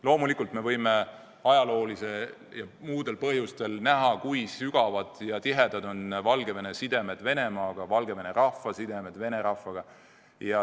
Loomulikult me võime näha, et ajaloolistel ja muudel põhjustel on Valgevene sidemed Venemaaga, Valgevene rahva sidemed Vene rahvaga sügavad ja tihedad.